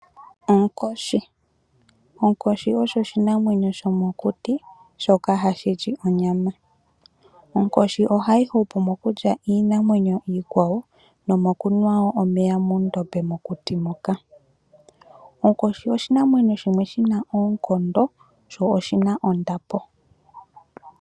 Onkoshi osho oshinamwenyo shomokuti shoka hashi li onyama. Onkoshi ohayi hupu mokulya iinamwenyo iikwawo nomokunwa omeya moondombe mokuti moka. Onkoshi oshinamwenyo shimwe shina oonkondo sho oshina ondapo.